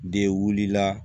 De wulila